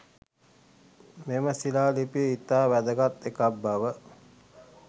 මෙම ශීලා ලිපිය ඉතා වැදගත් එකක් බව